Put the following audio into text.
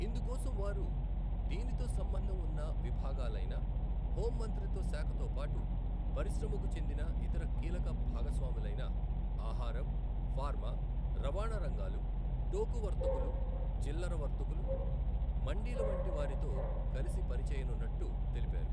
ఇందుకోసం వారు దీనితో సంబంధం ఉన్న విభాగాలైన హోంమంత్రిత్వశాఖతోపాటు, పరిశ్రమకు చెందిన ఇతర కీలక భాగస్వాములైన ఆహారం, ఫార్మా, రవాణా రంగాలు, టోకు వర్తకులు, చిల్లర వర్తకులు, మండీల వంటి వారితో కలసిపనిచేయనున్నట్టు తెలిపారు.